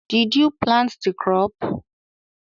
Did you plant the crop?